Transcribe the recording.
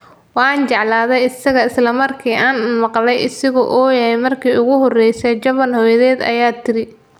Waan jeclaaday isaga isla markii aan maqlay isagoo ooya markii ugu horeysay, Jovan hooyadeed ayaa tiri.